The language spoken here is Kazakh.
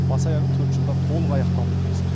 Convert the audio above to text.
бас аяғы төрт жылда толық аяқталуы тиіс